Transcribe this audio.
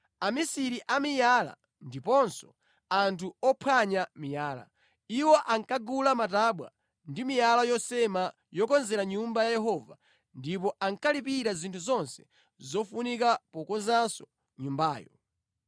amisiri a miyala ndiponso anthu ophwanya miyala. Iwo ankagula matabwa ndi miyala yosema yokonzera Nyumba ya Yehova ndipo ankalipira zinthu zonse zofunika pokonzanso nyumbayo.